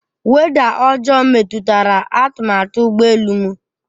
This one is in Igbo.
Weda ọjọọ metụtara atụmatụ ụgbọ elu m.